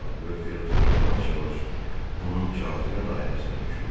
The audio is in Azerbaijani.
Sadəlövh Felton yavaş-yavaş onun cazibə dairəsinə düşürdü.